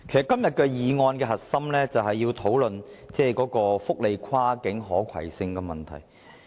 今天議案的核心，其實是要探討福利安排的跨境可攜性問題。